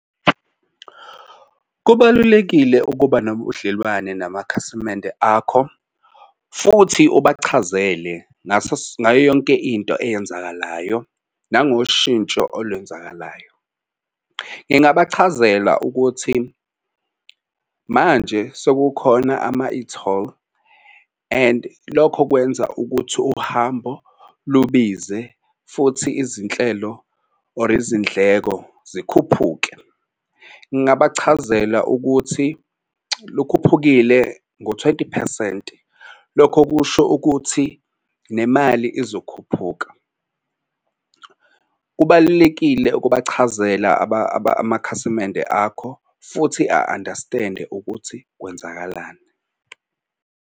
Kubalulekile ukuba nobudlelwane namakhasimende akho futhi ubachazele ngayo yonke into eyenzakalayo nangoshintsho olwenzakalayo. Ngingabachazela ukuthi manje sekukhona ama-e-toll and lokho kwenza ukuthi uhambo lubize futhi izinhlelo or izindleko zikhuphuke. Ngingabachazela ukuthi lukhuphukile ngo-twenty phesenti lokho kusho ukuthi nemali izokhuphuka. Kubalulekile ukubachazela amakhasimende akho futhi a-understand-e ukuthi kwenzakalani.